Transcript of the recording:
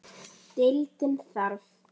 Deildin þarf